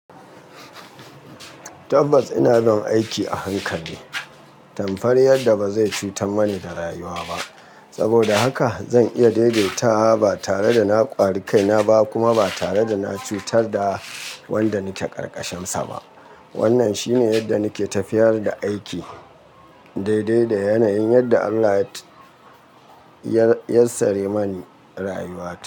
Tabbas ina bin aiki a hankali, tamfar yadda ba zai cutar mani da rayuwa ba. Saboda haka zan iya daidaita ba tare da na ƙwari kaina ba kuma ba tare da na cutar da wanda nake ƙarƙashinsa ba. Wannan shine yadda nike tafiyar da aiki, daidai da yanayin yadda Allah ya yassare mani rayuwa ta.